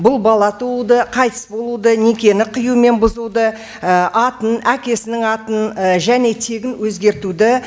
бұл бала тууды қайтыс болуды некені қию мен бұзуды атын әкесінің атын және тегін өзгертуді